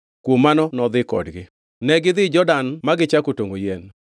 Kuom mano nodhi kodgi. Negidhi Jordan ma gichako tongʼo yien.